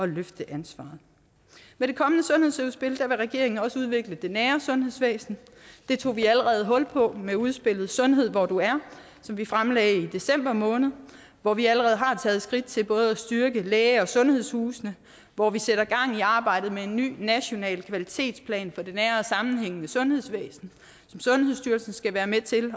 løfte ansvaret med det kommende sundhedsudspil vil regeringen også udvikle det nære sundhedsvæsen det tog vi allerede hul på med udspillet sundhed hvor du er som vi fremlagde i december måned hvor vi allerede har taget skridt til både at styrke læge og sundhedshusene hvor vi sætter gang i arbejdet med en ny national kvalitetsplan for det nære og sammenhængende sundhedsvæsen som sundhedsstyrelsen skal være med til